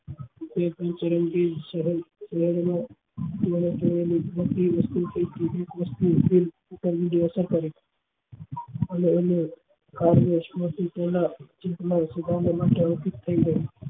એ ઊંડી અસર કરી અને એને વશ માંથી તેના ચિત માં સુદામા ના અર્પિત થઇ ગઈ